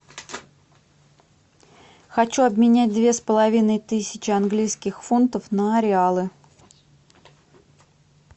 хочу обменять две с половиной тысячи английских фунтов на реалы